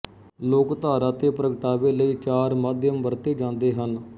ਲੋਕਧਾਰਾ ਤੇ ਪ੍ਰਗਟਾਵੇ ਲਈ ਚਾਰ ਮਾਧਿਅਮ ਵਰਤੇ ਜਾਂਦੇ ਹਨ